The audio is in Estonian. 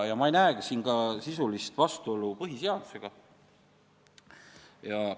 Ma ei näegi siin sisulist vastuolu põhiseadusega.